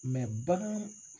bagan